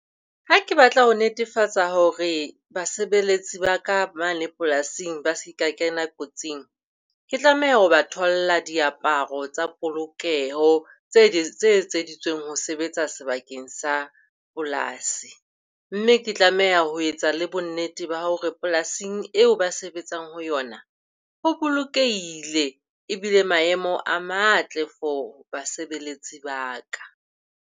Ha ke batla ho netefatsa hore basebeletsi ba ka mane polasing ba seka kena kotsing, ke tlameha ho ba tholla diaparo tsa polokeho tse etseditsweng ho sebetsa sebakeng sa polasi. Mme ke tlameha ho etsa le bonnete ba hore polasing eo ba sebetsang ho yona ho bolokehile, e bile maemo a matle for basebeletsi ba ka.